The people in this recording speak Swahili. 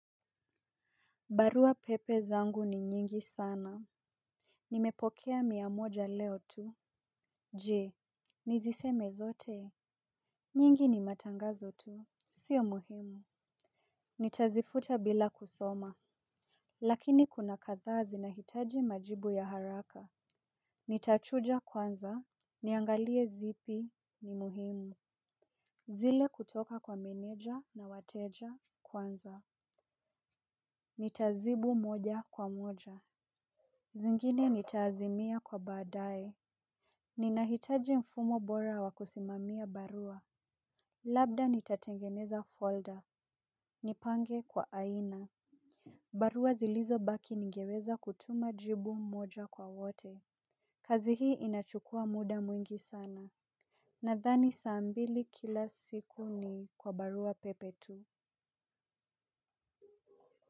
Barua pepe zangu ni nyingi sana. Nimepokea miamoja leo tu. Je niziseme zote. Nyingi ni matangazo tu. Sio muhimu. Nitazifuta bila kusoma. Lakini kuna kadhaa zi na hitaji majibu ya haraka. Nitachuja kwanza niangalie zipi ni muhimu. Zile kutoka kwa meneja na wateja kwanza nitazibu moja kwa moja. Zingine nitaazimia kwa baadae. Ninahitaji mfumo bora wakusimamia barua. Labda nitatengeneza folder. Nipange kwa aina. Barua zilizo baki ningeweza kutuma jibu moja kwa wote. Kazi hii inachukua muda mwingi sana. Nadhani saambili kila siku ni kwa barua pepe tu.